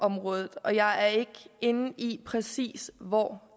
området og jeg er ikke inde i præcis hvor